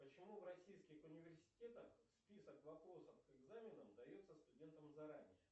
почему в российских университетах список вопросов к экзаменам дается студентам заранее